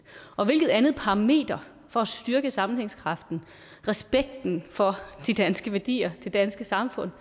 og hvilket andet parameter for at styrke sammenhængskraften respekten for de danske værdier det danske samfund